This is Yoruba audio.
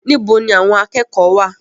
Níbo ni àwọn akẹ́kọ̀ọ́ wá à?